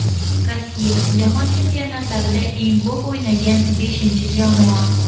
Rossiya: Jahon Chempionatlarida eng ko‘p o‘ynagan beshinchi jamoa.